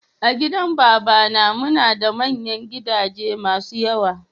A gidan babana muna da manyan gidaje masun yawa.